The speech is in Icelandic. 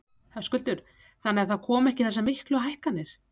Höskuldur: Þannig að það komi ekki þessar miklu hækkanir?